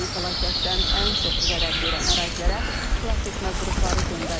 Təbii fəlakətdən ən çox zərər görən ərazilərə xilasetmə qrupları göndərilib.